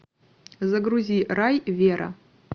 загрузи рай вера